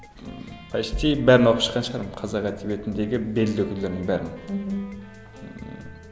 ммм почти бәрін оқып шыққан шығармын қазақ әдебиетіндегі белді өкілдердің бәрін мхм ммм